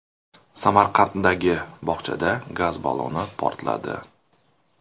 Samarqanddagi bog‘chada gaz balloni portladi.